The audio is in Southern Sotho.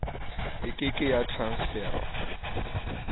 e ke ke ya transferwa